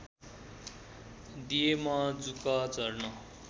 दिएमा जुका झर्न